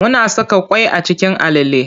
Muna saka ƙwai a cikin alale.